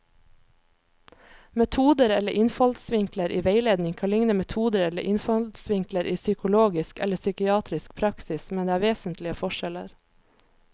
Metoder eller innfallsvinkler i veiledning kan likne metoder eller innfallsvinkler i psykologisk eller psykiatrisk praksis, men det er vesentlige forskjeller.